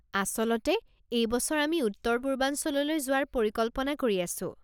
আচলতে, এই বছৰ আমি উত্তৰ পূৰ্বাঞ্চললৈ যোৱাৰ পৰিকল্পনা কৰি আছোঁ।